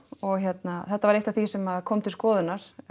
og hérna þetta var eitt af því sem kom til skoðunar